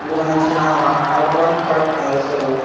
दुकानाचे नाव हा अर्बन कट हेयर सलून .